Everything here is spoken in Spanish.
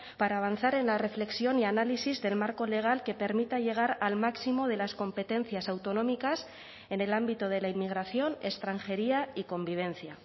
para avanzar en la reflexión y análisis del marco legal que permita llegar al máximo de las competencias autonómicas en el ámbito de la inmigración extranjería y convivencia